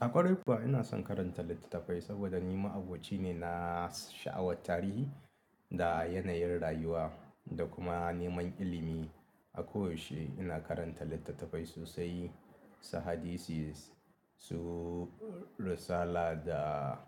A ƙwarai kuwa ina son karanta littattafai saboda ni ma'aboci ne na sha'awar tarihi da yanayin rayuwa da kuma neman ilimi. A koyaushe ina karanta littattafai sosai, su hadisi, su Risala da